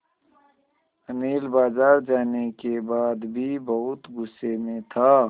अनिल बाज़ार जाने के बाद भी बहुत गु़स्से में था